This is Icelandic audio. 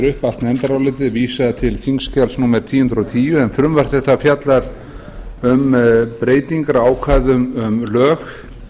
upp allt nefndarálitið vísa til þingskjals númer eitt þúsund og tíu en frumvarp þetta fjallar um breytingar á ákvæðum um lög